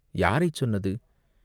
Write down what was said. யாரைச் சொன்னது?